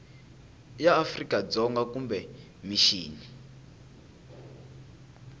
ya afrika dzonga kumbe mixini